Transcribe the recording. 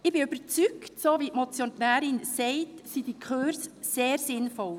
Ich bin überzeugt, dass diese Kurse sehr sinnvoll sind, so wie es die Motionärin sagt.